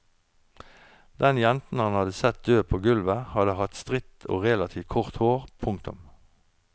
Den jenta han hadde sett død på gulvet hadde hatt stritt og relativt kort hår. punktum